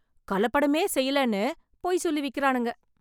கலப்படமே செய்யலேன்னு பொய் சொல்லி விக்கிறானுங்க